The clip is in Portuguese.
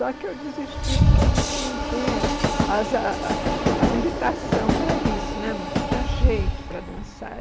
Só que eu desisti porque vi que não tinha as a habilitação para isso né, não tinha jeito para dançar.